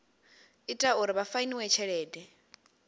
ita uri vha fainiwe tshelede